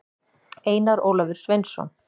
einar ólafur sveinsson